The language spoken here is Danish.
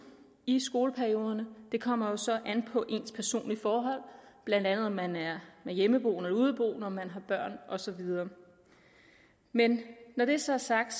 i skoleperioderne kommer jo så an på ens personlige forhold blandt andet om man er hjemmeboende eller udeboende og om man har børn og så videre men når det så er sagt